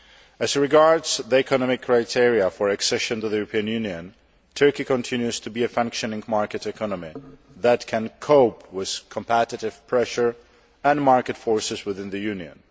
As regards the economic criteria for accession to the European Union, Turkey continues to be a functioning market economy that can cope with competitive pressure and market forces within the Union.